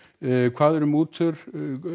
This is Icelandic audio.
hvað eru mútur